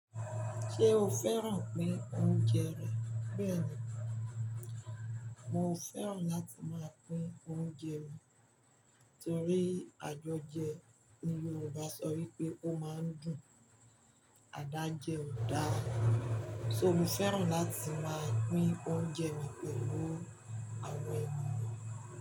Ṣé o fẹ́ràn pín oúnjẹ rẹ̀? Bẹ́ẹ̀ni, mo fẹ́ràn láti máa pín oúnjẹ mi torí àjọjẹ ni Yoruba sọ wípé ó máa ń dùn. Adájẹ́ ò dára, so mo fẹ́ràn láti máa pín oúnjẹ mi pẹ̀lú àwọn ẹ̀mi mi.